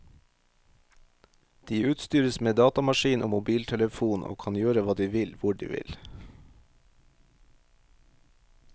De utstyres med datamaskin og mobiltelefon og kan gjøre hva de vil hvor de vil.